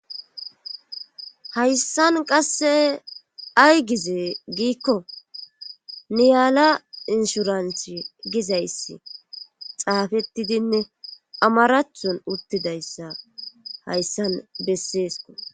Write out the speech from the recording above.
Hayssan qasse ay gize giikko niyaala inshuranthi gizayssi xaafettidinne amarathon uttidayssa hayssan besseesko.